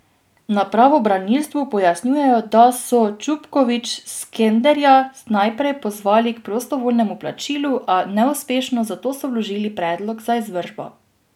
Na pravobranilstvu pojasnjujejo, da so Čupkovič Skenderja naprej pozvali k prostovoljnemu plačilu, a neuspešno, zato so vložili predlog za izvršbo.